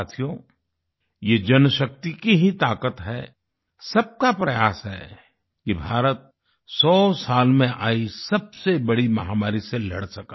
साथियो ये जनशक्ति की ही ताकत है सबका प्रयास है कि भारत 100 साल में आई सबसे बड़ी महामारी से लड़ सका